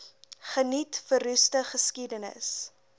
geniet verroeste geskiedenis